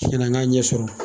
ka ɲɛ sɔrɔ.